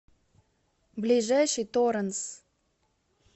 ближайший торенс